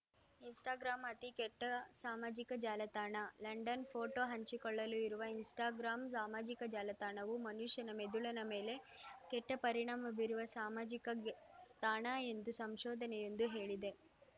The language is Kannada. ಇನ್‌ಸ್ಟಾಗ್ರಾಂ ಅತಿ ಕೆಟ್ಟ ಸಾಮಾಜಿಕ ಜಾಲತಾಣ ಲಂಡನ್‌ ಫೋಟೋ ಹಂಚಿಕೊಳ್ಳಲು ಇರುವ ಇನ್‌ಸ್ಟಾಗ್ರಾಂ ಸಾಮಾಜಿಕ ಜಾಲತಾಣವು ಮನುಷ್ಯನ ಮೆದುಳಿನ ಮೇಲೆ ಕೆಟ್ಟಪರಿಣಾಮ ಬೀರುವ ಸಾಮಾಜಿಕ ತಾಣ ಎಂದು ಸಂಶೋಧನೆಯೊಂದು ಹೇಳಿದೆ